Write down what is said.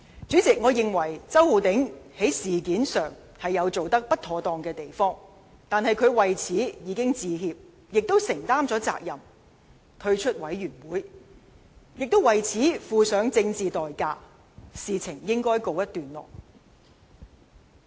主席，我認為周浩鼎議員在這事上有做得不妥當之處，但他已為此致歉，並承擔了責任，退出專責委員會；他既已為此付上政治代價，事情本應告一段落。